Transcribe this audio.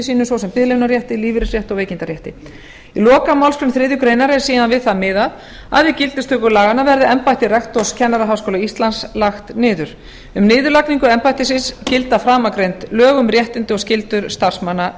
sínum svo sem biðlaunarétti lífeyrisrétti og veikindarétti í lokamálsgrein þriðju grein er síðan við það miðað að við gildistöku laganna verði embætti rektors kennaraháskóla íslands lagt niður um niðurlagningu embættisins gilda framangreind lög um réttindi og skyldur starfsmanna